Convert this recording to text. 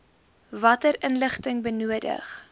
watter inligting benodig